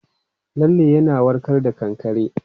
Lalle yana warka da kankare.